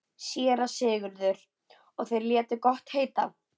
SÉRA SIGURÐUR: Og þeir létu gott heita?